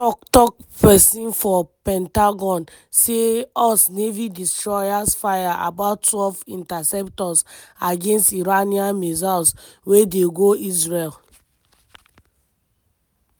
one tok-tok pesin for pentagon say us navy destroyers fire about twelve interceptors against iranian missiles wey dey go israel.